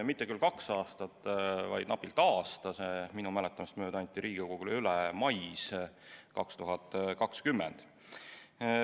Mitte küll kaks aastat, vaid napilt aasta – minu mäletamist mööda anti see Riigikogule üle mais 2020.